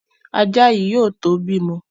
Ajá yìí yóò tó bímọ.